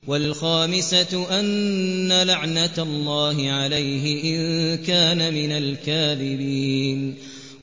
وَالْخَامِسَةُ أَنَّ لَعْنَتَ اللَّهِ عَلَيْهِ إِن كَانَ مِنَ الْكَاذِبِينَ